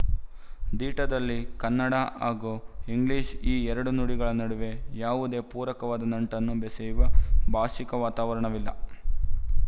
ದೀಟಾದಲ್ಲಿ ಕನ್ನಡ ಹಾಗೂ ಇಂಗ್ಲಿಶು ಈ ಎರಡೂ ನುಡಿಗಳ ನಡುವೆ ಯಾವುದೇ ಪೂರಕವಾದ ನಂಟನ್ನು ಬೆಸೆಯುವ ಭಾಶಿಕ ವಾತಾವರಣವಿಲ್ಲ